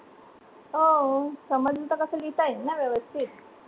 हो समजलं तर कसं लिहिता येतं ना व्यवस्थित